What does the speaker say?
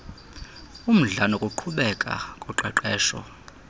umdla nokuqhubeka koqeqesho